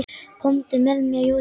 Komdu með mér Júlía.